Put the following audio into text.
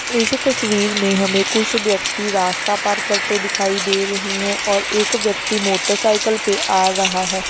इस तस्वीर में हमें कुछ व्यक्ति रास्ता पार करते दिखाई दे रहे है और एक व्यक्ति मोटरसाइकल पे आ रहा है।